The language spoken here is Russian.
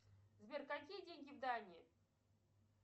сбер какие деньги в дании